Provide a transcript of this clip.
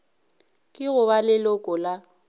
ke go ba leloko la